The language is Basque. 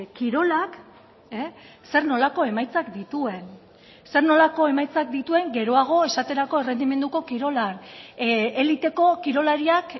kirolak zer nolako emaitzak dituen zer nolako emaitzak dituen geroago esaterako errendimenduko kirolan eliteko kirolariak